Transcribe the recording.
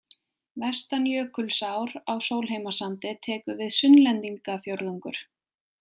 Vestan Jökulsár á Sólheimasandi tekur við Sunnlendingafjórðungur.